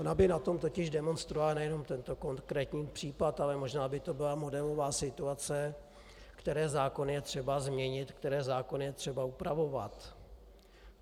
Ona by na tom totiž demonstrovala nejen tento konkrétní případ, ale možná by to byla modelová situace, které zákony je třeba změnit, které zákony je třeba upravovat.